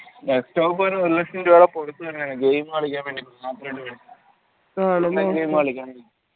ഒരു ലക്ഷം രൂപേടെ game കളിയ്ക്കാൻ വേണ്ടീറ്റ്